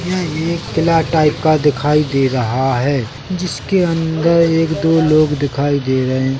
यह एक किला टाइप का दिखाई दे रहा है जिसके अंदर एक दो लोग दिखाई दे रहे--